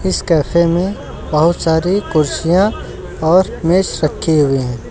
इस कैफे में बहुत सारी कुर्सिया और रखी हुई है।